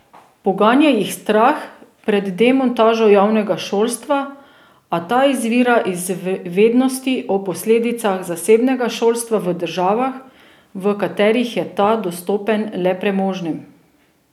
Poganja jih strah pred demontažo javnega šolstva, a ta izvira iz vednosti o posledicah zasebnega šolstva v državah, v katerih je ta dostopen le premožnim.